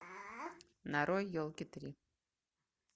нарой елки три